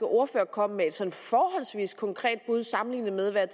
ordfører kom med et sådan forholdsvis konkret bud sammenlignet med hvad